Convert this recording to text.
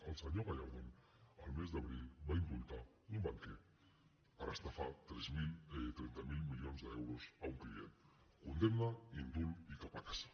el senyor gallardón el mes d’abril va indultar un banquer per estafar trenta miler milions d’euros a un client condemna indult i cap a casa